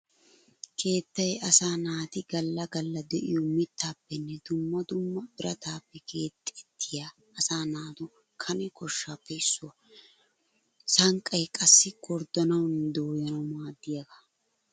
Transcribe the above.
Keettay asaa naati gala gala de'iyo mittappenne dumma dumma biratappe keexettiya asaa naatu kane koshshappe issuwaa. Sanqqay qassi gorddanawunne dooyanawu maadiyaga.